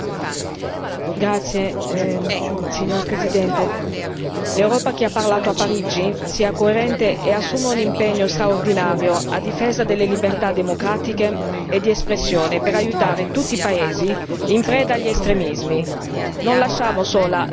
Signor Presidente, onorevoli colleghi, l'Europa che ha parlato a Parigi sia coerente e assuma un impegno straordinario a difesa delle libertà democratiche e di espressione per aiutare tutti i paesi in preda agli estremismi. Non lasciamo sola l'Africa!